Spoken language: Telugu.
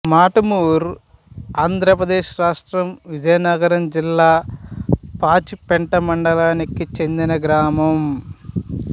మటుమూరుఆంధ్ర ప్రదేశ్ రాష్ట్రం విజయనగరం జిల్లా పాచిపెంట మండలానికి చెందిన గ్రామం